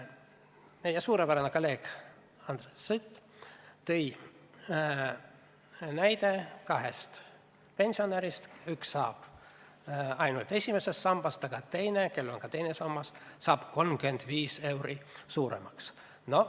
Meie suurepärane kolleeg Andres Sutt tõi näite kahest pensionärist, kellest üks saab pensioni ainult esimesest sambast, aga teine, kellel on ka teine sammas, saab 35 eurot rohkem.